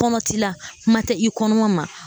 Kɔnɔ t'i la kuma tɛ i kɔnɔma ma.